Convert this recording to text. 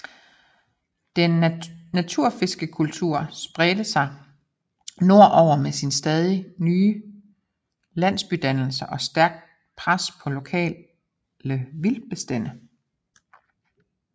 Den natufiske kultur spredte sig nordover med stadig nye landsbydannelser og stærkt pres på lokale vildtbestande